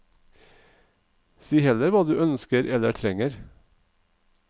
Si heller hva du ønsker eller trenger.